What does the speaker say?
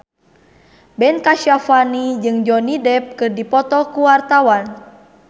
Ben Kasyafani jeung Johnny Depp keur dipoto ku wartawan